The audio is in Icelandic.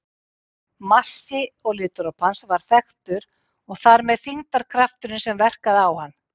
Massi olíudropans var þekktur og þar með þyngdarkrafturinn sem verkaði á hann.